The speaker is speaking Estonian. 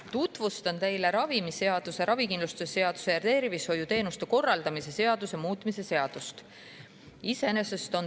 Tutvustan teile ravimiseaduse, ravikindlustuse seaduse ja tervishoiuteenuste korraldamise seaduse muutmise seaduse.